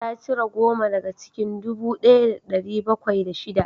Ta cire goma daga cikin dubu ɗaya da ɗari bakwai da shida